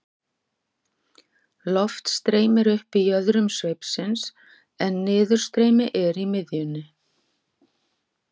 Loft streymir upp í jöðrum sveipsins en niðurstreymi er í miðjunni.